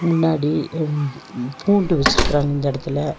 முன்னாடி ம் பூண்டு வெச்சிருக்குறாங் இந்தெடத்துல.